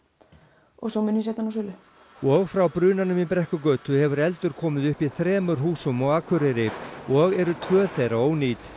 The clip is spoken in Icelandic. og svo mun ég setja hana á sölu og frá brunanum í Brekkugötu hefur eldur komið upp í þremur húsum á Akureyri og eru tvö þeirra ónýt